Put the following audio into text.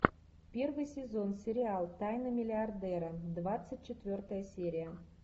первый сезон сериал тайна миллиардера двадцать четвертая серия